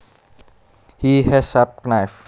He has a sharp knife